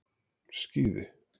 Skíði